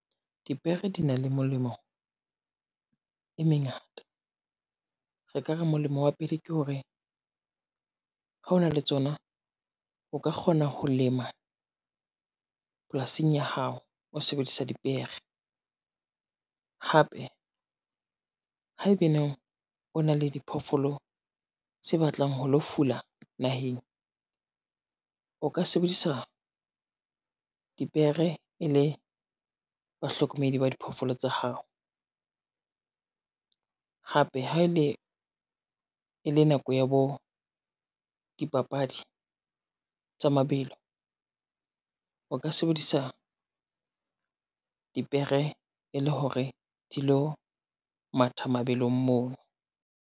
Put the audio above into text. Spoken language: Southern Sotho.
Dipere di na le molemo e mengata. Re ka re molemo wa pele ke hore, ha ona le tsona o ka kgona ho lema polasing ya hao o sebedisa dipere. Hape haebaneng o na le diphoofolo tse batlang ho lo fula naheng, o ka sebedisa dipere e le bahlokomedi ba diphoofolo tsa hao. Hape ha e le nako ya bo dipapadi tsa mabelo, o ka sebedisa dipere e le hore di lo matha mabelong moo.